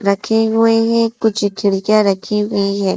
रखे हुए हैं कुछ रखी हुई है।